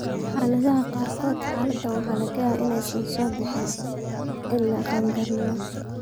Xaaladaha qaarkood, xaaladdan waxaa laga yaabaa inaysan soo bixin ilaa qaangaarnimada.